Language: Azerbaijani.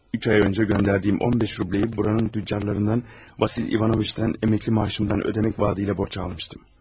Üç ay əvvəl göndərdiyim 15 rublu buranın dükançılarından Vasil İvanoviçdən pensiya maaşımdan ödəmək vədi ilə borc almışdım.